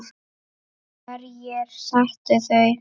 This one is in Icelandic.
Hverjir settu þau?